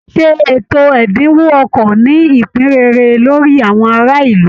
Ṣé ètò ẹ̀dínwó ọkọ̀ ní ìpín rere lórí àwọn ará ìlú?